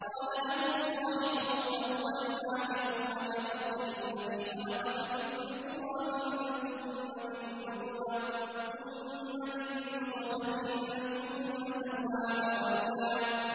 قَالَ لَهُ صَاحِبُهُ وَهُوَ يُحَاوِرُهُ أَكَفَرْتَ بِالَّذِي خَلَقَكَ مِن تُرَابٍ ثُمَّ مِن نُّطْفَةٍ ثُمَّ سَوَّاكَ رَجُلًا